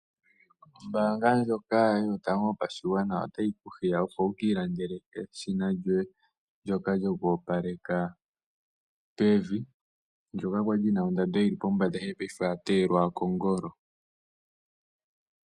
Ombaanga ndjoka Yotango Yopashigwana otayi ku hiya, opo wu ka ilandele eshina yoye ndyoka lyoku opaleka pevi, ndyoka kwa li lyi na ondando yi li pombanda, ihe paife oya teyelwa kongolo.